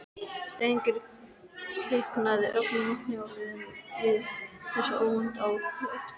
Steingerður kiknaði ögn í hnjáliðunum við þessa óvæntu atlögu.